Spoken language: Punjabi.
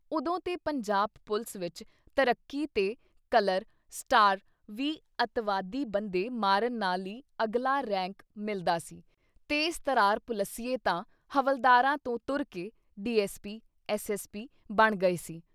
ਉਦੋਂ ਤੇ ਪੰਜਾਬ ਪੁਲਿਸ ਵਿੱਚ ਤਰੱਕੀ ਤੇ ਕਲਰ, ਸਟਾਰ ਵੀ ਅਤਿਵਾਦੀ ਬੰਦੇ ਮਾਰਨ ਨਾਲ ਈ ਅਗਲਾ ਰੈਂਕ ਮਿਲਦਾ ਸੀ ਤੇਜ਼ ਤਰਾਰ ਪੁਲਿਸੀਏ ਤਾਂ ਹਵਾਲਦਾਰਾਂ ਤੋਂ ਤੁਰਕੇ D. S. P, S. S. P. ਬਣ ਗਏ ਸੀ।